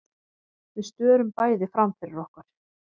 Við störum bæði framfyrir okkur.